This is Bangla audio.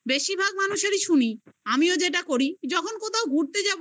বেশিরভাগ মানুষেরই শুনি আমিও যেটা করি, যখন কোথাও ঘুরতে যাব